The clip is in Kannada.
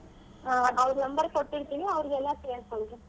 ಆ ಅವ್ರು number ಕೊಟ್ಟಿರ್ತೀನಿ ಅವ್ರಿಗೆಲ್ಲ ಕೇಳ್ಕೊಳ್ಳಿ.